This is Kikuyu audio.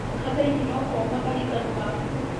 Kabeini no komagarie kanua gaku